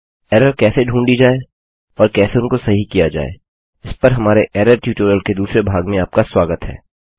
error कैसे ढूँढी जाय और कैसे उनको सही किया जाय इस पर हमारे एरर ट्यूटोरियल के दूसरे भाग में आपका स्वागत है